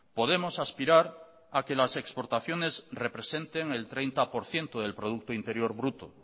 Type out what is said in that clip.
podemos aspirar a que las exportaciones representen el treinta por ciento del producto interior bruto